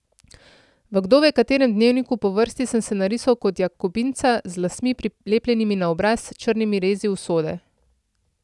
V kdove katerem dnevniku po vrsti sem se narisal kot jakobinca, z lasmi prilepljenimi na obraz, črnimi rezi usode.